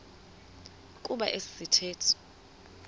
kuba esi sithethe